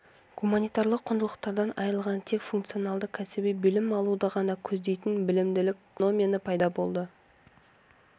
гуманитарлы құндылықтардан айрылған тек функционалды-кәсіби білім алуды ғана көздейтін білімділік феномені пайда болды